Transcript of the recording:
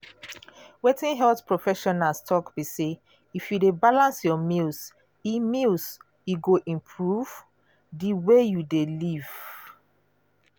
wetin health professionals talk be say if you dey balance your meals e meals e go improve di way you dey live.